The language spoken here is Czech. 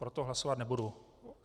Proto hlasovat nebudu.